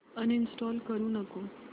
uninstall करू नको